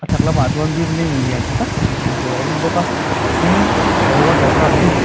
chhak lamah chuan building lian ṭha tak pahnih hmuh tûr a awm bawk a tin he water park hi.